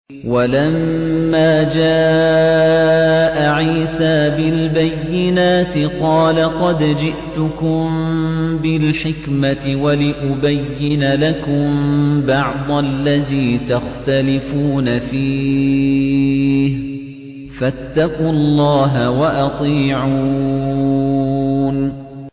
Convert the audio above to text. وَلَمَّا جَاءَ عِيسَىٰ بِالْبَيِّنَاتِ قَالَ قَدْ جِئْتُكُم بِالْحِكْمَةِ وَلِأُبَيِّنَ لَكُم بَعْضَ الَّذِي تَخْتَلِفُونَ فِيهِ ۖ فَاتَّقُوا اللَّهَ وَأَطِيعُونِ